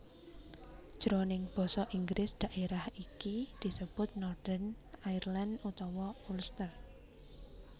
Jroning basa Inggris daerah iki disebut Northern Ireland utawa Ulster